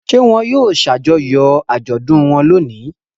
Ṣé wọn yóò ṣàjọyọ̀ àjọ̀dún wọn lónìí?